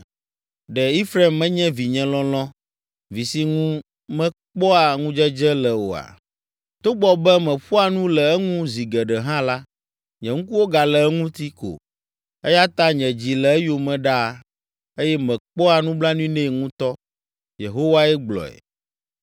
Ɖe Efraim menye vinye lɔlɔ̃, vi si ŋu mekpɔa ŋudzedze le oa? Togbɔ be meƒoa nu le eŋu zi geɖe hã la, nye ŋkuwo gale eŋuti ko. Eya ta nye dzi le eyome ɖaa eye mekpɔa nublanui nɛ ŋutɔ,” Yehowae gblɔe.